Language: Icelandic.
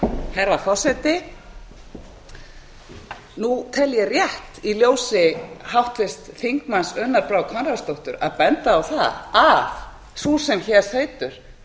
herra forseti nú tel ég rétt í ljósi orða háttvirts þingmanns unnar brár konráðsdóttur að benda á að sú sem hér